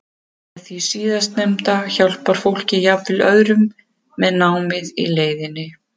Með því síðarnefnda hjálpar fólk jafnvel öðrum með námið í leiðinni.